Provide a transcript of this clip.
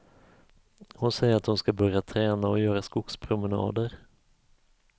Hon säger att hon skall börja träna och göra skogspromenader.